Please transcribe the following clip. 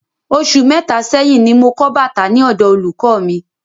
Osù mẹta sẹ́yín ní mo kọ bàtà ní ọ̀dọ olùkọ mí